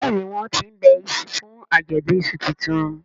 Béèni wón tín ńbe iṣu fún Ajọdun iṣu títún.